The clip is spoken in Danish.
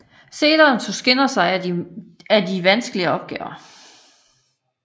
Senere tog Skinner sig af en af de vanskeligste opgaver